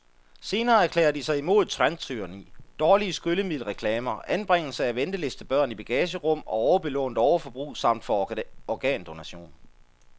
Senere erklærer de sig imod trendtyranni, dårlige skyllemiddelreklamer, anbringelse af ventelistebørn i bagagerum og overbelånt overbrug samt for organdonation.